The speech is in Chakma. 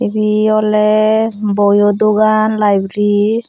ibee oley boyo dogan libri .